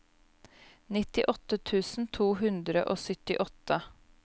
nittiåtte tusen to hundre og syttiåtte